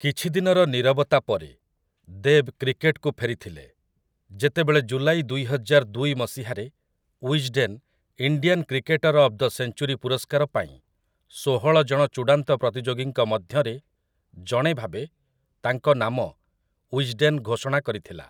କିଛି ଦିନର ନୀରବତା ପରେ, ଦେବ୍ କ୍ରିକେଟକୁ ଫେରିଥିଲେ ଯେତେବେଳେ ଜୁଲାଇ ଦୁଇହଜାର ଦୁଇ ମସିହାରେ Wisden Indian cricketer of the century ପୁରସ୍କାର ପାଇଁ ଷୋହଳ ଜଣ ଚୂଡ଼ାନ୍ତ ପ୍ରତିଯୋଗୀଙ୍କ ମଧ୍ୟରେ ଜଣେ ଭାବେ ତାଙ୍କ ନାମ ୱିଜ୍‌ଡେନ୍‌ ଘୋଷଣା କରିଥିଲା ।